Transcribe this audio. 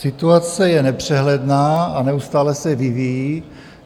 Situace je nepřehledná a neustále se vyvíjí.